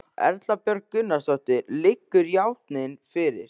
Erla Björg Gunnarsdóttir: Liggur játning fyrir?